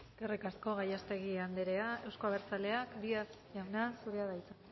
eskerrik asko gallástegui andrea euzko abertzaleak díez jauna zurea da hitza